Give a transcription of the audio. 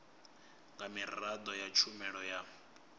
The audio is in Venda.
nga miraḓo ya tshumelo ya